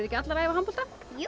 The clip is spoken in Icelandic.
ekki allar að æfa handbolta jú